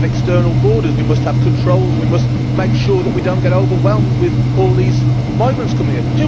We must have external borders, we must have controls, and we must make sure that we do not get overwhelmed with all these migrants coming in.